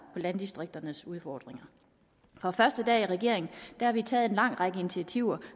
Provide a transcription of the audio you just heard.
landdistrikternes udfordringer fra første dag i regering har vi taget en lang række initiativer